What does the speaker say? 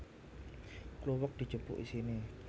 Kluwek dijupuk isine